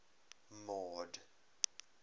mord